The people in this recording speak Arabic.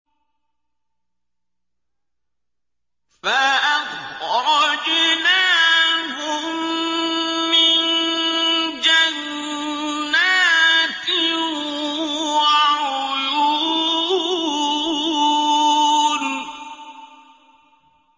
فَأَخْرَجْنَاهُم مِّن جَنَّاتٍ وَعُيُونٍ